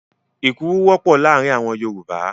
Èkuru wọ́pọ̀ láàárin àwọn Yorùbá.